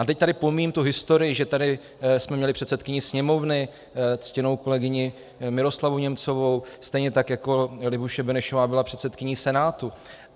A teď tady pomíjím tu historii, že jsme tady měli předsedkyni Sněmovny, ctěnou kolegyni Miroslavu Němcovou, stejně tak jako Libuše Benešová byla předsedkyní Senátu.